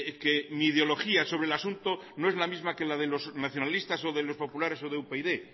que mi ideología sobre el asunto no es la misma que la de los nacionalistas o de los populares o de upyd